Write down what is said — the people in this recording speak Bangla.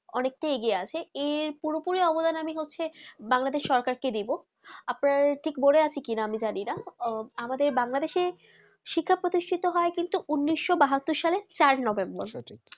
অনেক তা এগিয়ে আছে এর পুরোপুরি অবদান আমি বাংলাদেশ সরকার কে দেব আপনার ঠিক মনে আছে কি না আমি জানি না আহ আমাদের বাংলাদেশে শিক্ষা প্রতিষ্ঠিত হয় কিন্তু উনিশশো বাহাত্তর সালে চার November